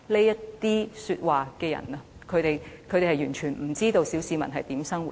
說這些話的人完全不知道小市民如何生活。